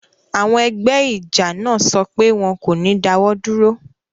Àwọn ẹgbẹ́ ijọ naa sọ pé wọn kò ní dáwọ̀ dúró